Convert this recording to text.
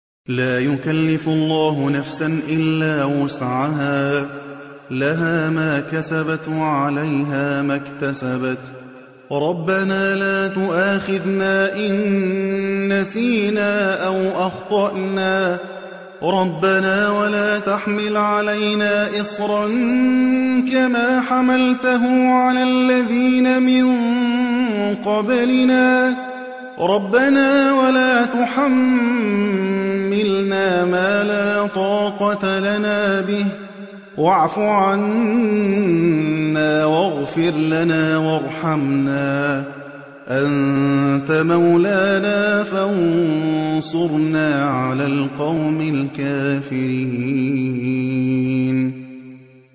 لَا يُكَلِّفُ اللَّهُ نَفْسًا إِلَّا وُسْعَهَا ۚ لَهَا مَا كَسَبَتْ وَعَلَيْهَا مَا اكْتَسَبَتْ ۗ رَبَّنَا لَا تُؤَاخِذْنَا إِن نَّسِينَا أَوْ أَخْطَأْنَا ۚ رَبَّنَا وَلَا تَحْمِلْ عَلَيْنَا إِصْرًا كَمَا حَمَلْتَهُ عَلَى الَّذِينَ مِن قَبْلِنَا ۚ رَبَّنَا وَلَا تُحَمِّلْنَا مَا لَا طَاقَةَ لَنَا بِهِ ۖ وَاعْفُ عَنَّا وَاغْفِرْ لَنَا وَارْحَمْنَا ۚ أَنتَ مَوْلَانَا فَانصُرْنَا عَلَى الْقَوْمِ الْكَافِرِينَ